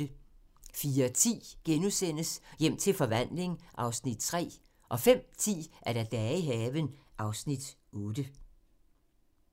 04:10: Hjem til forvandling (Afs. 3)* 05:10: Dage i haven (Afs. 8)